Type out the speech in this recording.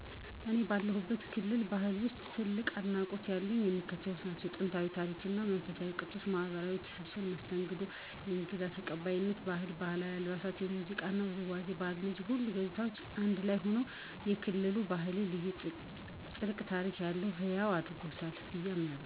እኔ ባለሁበት ክልል ባህል ውስጥ ጥልቅ አድናቆት ያለኝ የሚከተሉት ናቸው፦ * ጥንታዊ ታሪክ እና መንፈሳዊ ቅርሶች * ማኅበራዊ ትስስርና መስተንግዶ * የእንግዳ ተቀባይነት ባህል: * ባህላዊ አልባሳት * የሙዚቃና ውዝዋዜ ባህል እነዚህ ሁሉ ገጽታዎች አንድ ላይ ሆነው የክልሉን ባህል ልዩ፣ ጥልቅ ታሪክ ያለውና ሕያው ያደርጉታል ብዬ አምናለሁ።